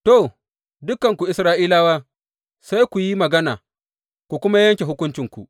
To, dukanku Isra’ilawa, sai ku yi magana ku kuma yanke hukuncinku.